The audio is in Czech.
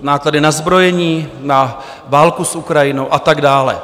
náklady na zbrojení, na válku s Ukrajinou a tak dále.